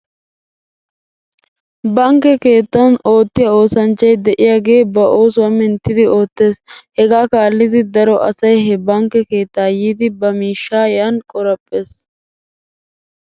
Bankke keettan oottiyaa oosanchchay de'iyaagee ba oosuwaa minttidi oottes. Hegaa kaallidi daro asay he bankke keettaa yiidi ba miishshaa yan qoraphphes.